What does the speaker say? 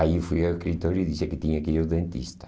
Aí fui ao escritório e disse que tinha que ir ao dentista.